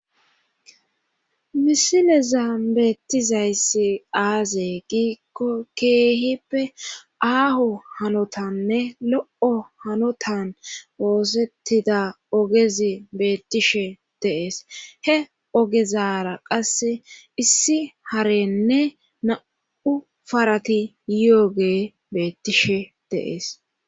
Misileza beettizayssi aazee giikko keehippe aaho hanotanne lo7o hanotan woosettida ogezi beettishe deees he ogezara qasse issi harenne na7u farati y7oge beettishe deees